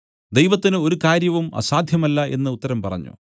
ദൈവത്തിന് ഒരു കാര്യവും അസാദ്ധ്യമല്ല എന്നു ഉത്തരം പറഞ്ഞു